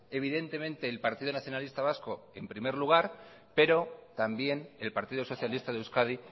evidentemente el partido nacionalista vasco en primer lugar pero también el partido socialista de euskadi